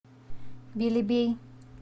белебей